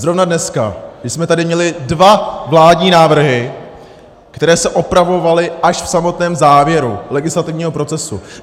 Zrovna dneska, když jsme tady měli dva vládní návrhy, které se opravovaly až v samotném závěru legislativního procesu.